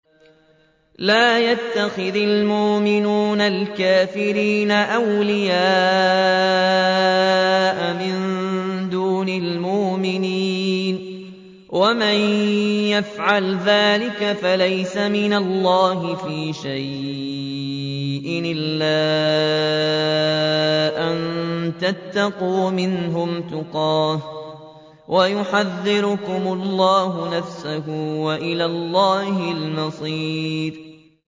لَّا يَتَّخِذِ الْمُؤْمِنُونَ الْكَافِرِينَ أَوْلِيَاءَ مِن دُونِ الْمُؤْمِنِينَ ۖ وَمَن يَفْعَلْ ذَٰلِكَ فَلَيْسَ مِنَ اللَّهِ فِي شَيْءٍ إِلَّا أَن تَتَّقُوا مِنْهُمْ تُقَاةً ۗ وَيُحَذِّرُكُمُ اللَّهُ نَفْسَهُ ۗ وَإِلَى اللَّهِ الْمَصِيرُ